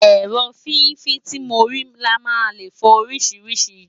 èrò fífi tí mori là nà lẹ fo orisirisii